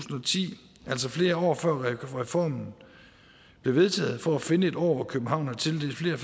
og ti altså flere år før reformen blev vedtaget for at finde et år hvor københavn har tildelt flere